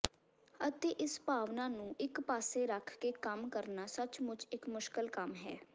ਅਤੇ ਇਸ ਭਾਵਨਾ ਨੂੰ ਇਕ ਪਾਸੇ ਰੱਖ ਕੇ ਕੰਮ ਕਰਨਾ ਸੱਚਮੁੱਚ ਇਕ ਮੁਸ਼ਕਲ ਕੰਮ ਹੈ